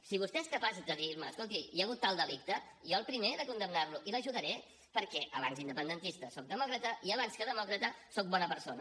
si vostè és capaç de dirme escolti hi ha hagut tal delicte jo el primer de condemnar lo i l’ajudaré perquè abans que independentista soc demòcrata i abans que demòcrata soc bona persona